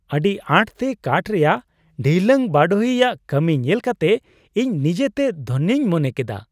ᱟᱹᱰᱤ ᱟᱸᱴ ᱛᱮ ᱠᱟᱴᱷ ᱨᱮᱭᱟᱜ ᱰᱷᱤᱭᱞᱟᱹᱝ ᱵᱟᱰᱚᱦᱤ ᱭᱟᱜ ᱠᱟᱹᱢᱤ ᱧᱮᱞ ᱠᱟᱛᱮ ᱤᱧ ᱱᱤᱡᱮᱛᱮ ᱫᱷᱚᱱᱭᱚ ᱢᱚᱱᱮ ᱠᱮᱫᱼᱟ ᱾